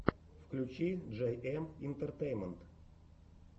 включи джейэм интертеймент